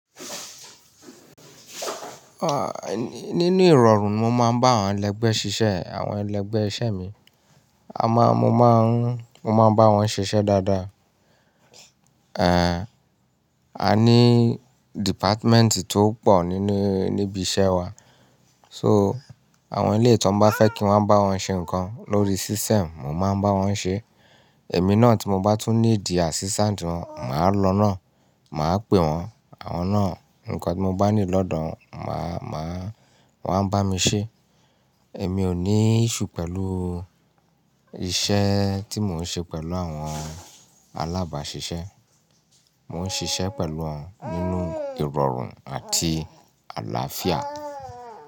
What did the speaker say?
Nínu ìrọ̀rùn mo máa ń bá àwọn ẹlẹgbẹ́ ṣiṣẹ́, àwọn ẹlẹgbẹ́ iṣẹ́ mi. A máa, mo máa ń, mo máa bá wọn ṣiṣẹ́ dáadáa. Ehn, a ní dìpátmẹ́ǹtì tó pọ̀ nínú, níbi iṣẹ́ wa. So, àwọn ilé tí wọ́n bá fẹ́ kí wọ́n bá wọn ṣe nǹkan lórí system, mo máa ń bá wọn ṣe. Èmi náà tí mo bá tún ní ìdí àṣìṣáǹdì wọ́n, màá lọ náà, màá pè wọ́n, àwọn náà nǹkan tí mo bá ní lọ́dọ̀ wọn, màá, màá, wọ́n á bá mi ṣe. Ẹ̀mí ò ní iṣu pẹ̀lú iṣẹ́ tí mò ń ṣe pẹ̀lú àwọn alábàáṣiṣẹ́. Mò ń ṣiṣẹ́ pẹ̀lú wọn nínú ìrọ̀rùn àti àlàáfíà.